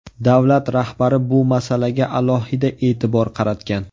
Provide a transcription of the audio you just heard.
Davlat rahbari bu masalaga alohida e’tibor qaratgan.